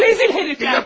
Rezil hərİf!